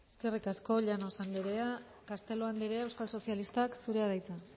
eskerrik asko llanos andrea castelo andrea euskal sozialistak zurea da hitza